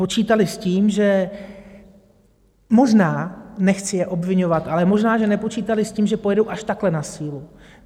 Počítali s tím, že možná, nechci je obviňovat, ale možná že nepočítali s tím, že pojedou až takhle na sílu.